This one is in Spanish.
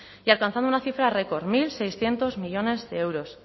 y alcanzando una cifra récord mil seiscientos millónes de euros